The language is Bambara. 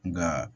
Nka